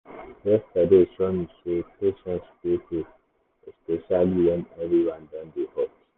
yesterday show me say patience dey pay especially when everywhere don dey hot.